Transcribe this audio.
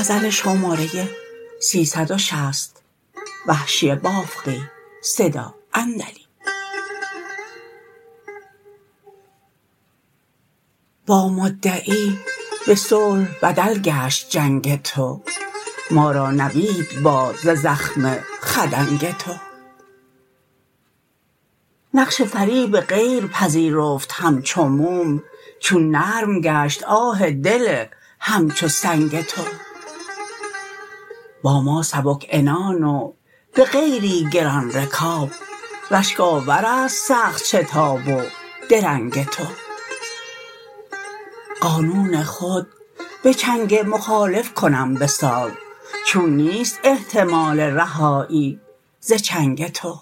با مدعی به صلح بدل گشت جنگ تو ما را نوید باد ز زخم خدنگ تو نقش فریب غیر پذیرفت همچو موم چون نرم گشت آه دل همچو سنگ تو با ما سبک عنان و به غیری گران رکاب رشک آور است سخت شتاب و درنگ تو قانون خود به چنگ مخالف کنم به ساز چون نیست احتمال رهایی ز چنگ تو